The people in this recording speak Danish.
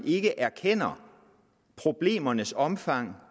ikke erkender problemernes omfang